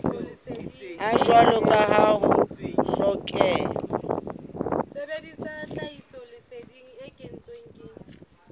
jwalo ka ha ho hlokeha